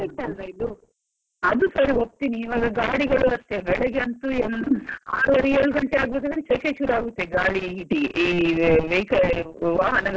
ಅದು ಸರಿ ಒಪ್ತೀನಿ, ಇವಾಗ ಗಾಡಿಗಳು ಅಷ್ಟೇ ಬೆಳಿಗ್ಗೆ ಅಂತೂ ಆರೂವರೆ ಏಳು ಗಂಟೆ ಆಗ್ಬೇಕಾದ್ರೆ ಶೆಕೆ ಶುರುವಾಗ್ತದೆ ಗಾಳಿ heat ಈ vehicle ವಾಹನಗಳ heat ಗೆ ಎಲ್ಲಾ.